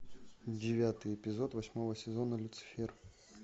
девятый эпизод восьмого сезона люцифер